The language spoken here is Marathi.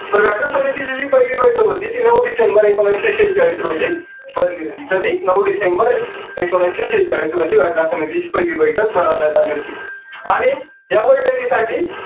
तर घटना समिती ची जी पहिली बैठक होती ती नऊ डिसेंबर एकोणविसशे शेचाळीस रोजी भरली होती कधी नऊ डिसेंबर एकोणविसशे शेचाळीस रोजी घटना समितीची पहिली बैठक भरवण्यात आली होती. आणि या बैठकी साठी